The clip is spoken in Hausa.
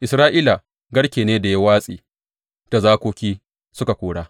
Isra’ila garke ne da ya watse da zakoki suka kora.